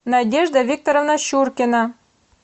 надежда викторовна щуркина